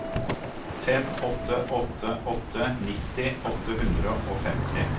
fem åtte åtte åtte nitti åtte hundre og femti